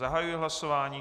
Zahajuji hlasování.